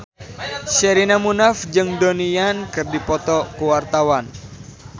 Sherina Munaf jeung Donnie Yan keur dipoto ku wartawan